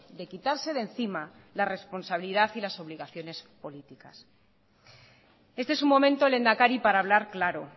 de quitarse de encima la responsabilidad y las obligaciones políticas este es un momento lehendakari para hablar claro